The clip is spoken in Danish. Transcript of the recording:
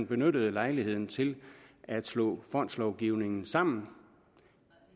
benyttet lejligheden til at slå fondslovgivningerne sammen